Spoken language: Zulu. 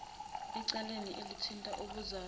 ecaleni elithinta ubuzali